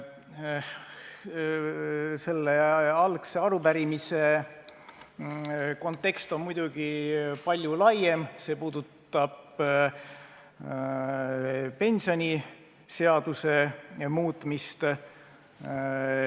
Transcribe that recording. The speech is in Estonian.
Selle arupärimise kontekst on muidugi palju laiem, see puudutab pensioniseaduse muutmist.